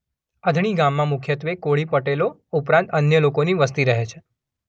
અણધી ગામમાં મુખ્યત્વે કોળી પટેલો ઉપરાંત અન્ય લોકોની વસ્તી રહે છે.